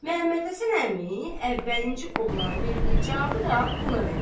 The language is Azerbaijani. Məmmədhəsən əmi əvvəlinci oğlanın verdiyi cavabı da buna verdi.